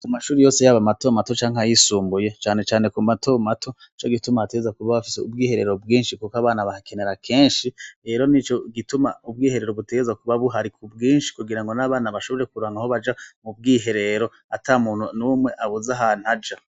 Kumashure matomato canke ayisumbuye cane cane kumatomato nico gituma haba hafise ubwiherero bwinshi kubera abana bahakenera kenshi rero nico gituma ubwiherero buba buhari kubwinshi kugirango nabana bashobore kuronka ubwiherero atamuntu ntumwe abuze aho aja